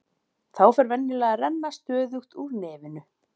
Þá fer venjulega að renna stöðugt úr nefinu.